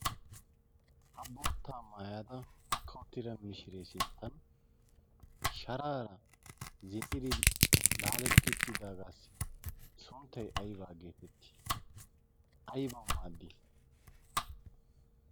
ha boottaa maayada mokkau tiira mishiree sinttan sharaara zin"idi laaletti uttidaagaassi sonttay aybaa geetetti? aybawu maaddi?